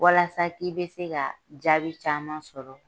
Walasa k'i be se ka jaabi caman sɔrɔ